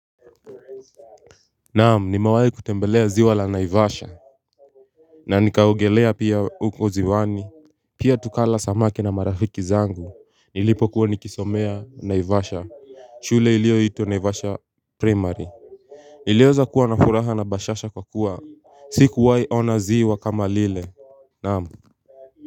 Naam nimewai kutembelea ziwa la naivasha na nikaogelea pia ukoziwani Pia tukala samaki na marafiki zangu Nilipo kuwa nikisomea naivasha shule ilio itwa naivasha primary Niliweza kuwa na furaha na bashasha kwa kuwa Sikuwai ona ziwa kama lile Naam.